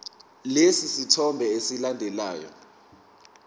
lesi sithombe esilandelayo